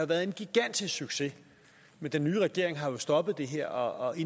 været en gigantisk succes men den nye regering har jo stoppet det her og i